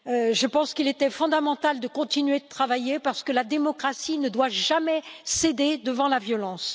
Je pense qu'il était fondamental de continuer de travailler, parce que la démocratie ne doit jamais céder devant la violence.